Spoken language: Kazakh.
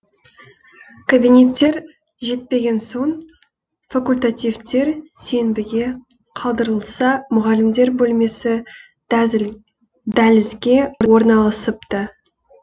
кабинеттер жетпеген соң факультативтер сенбіге қалдырылса мұғалімдер бөлмесі дәлізге орналасыпты